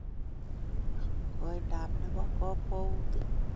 koindap ne po kakwautyet .